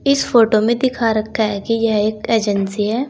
इस फोटो में दिखा रखा है कि यह एक एजेंसी है।